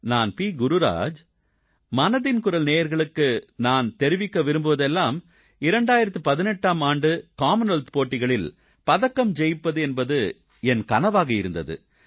நான் பி குருராஜ் மனதின் குரல் நேயர்களுக்கு நான் தெரிவிக்க விரும்புவதெல்லாம் 2018ஆம் ஆண்டு காமன்வெல்த் போட்டிகளில் பதக்கம் வெல்வது என்பது என் கனவாக இருந்தது